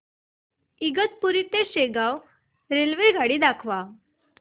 इगतपुरी ते शेगाव रेल्वेगाडी दाखव